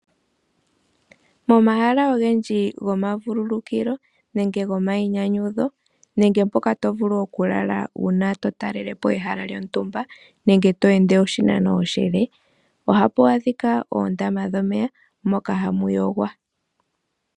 Momahala ogendji gomavululukilo nenge gomayinyanyudho nenge mpoka tovulu okulala uuna to talelapo ehala lyontumba nenge to ende oshinano oshile ,ohapu adhika oondama dhomeya moka hamu yogwa .